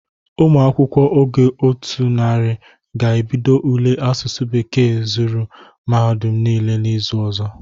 Ụmụ akwụkwọ ogo otu narị ga-ebido ule asụsụ bekee zụrụ mahadum niile na izu ọzọ.